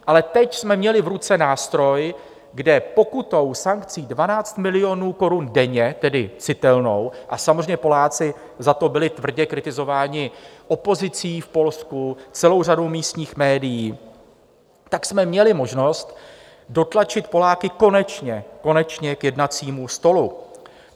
Ale teď jsme měli v ruce nástroj, kde pokutou, sankcí 12 milionů korun denně, tedy citelnou, a samozřejmě Poláci za to byli tvrdě kritizováni opozicí v Polsku, celou řadou místních médií, tak jsme měli možnost dotlačit Poláky konečně - konečně - k jednacímu stolu.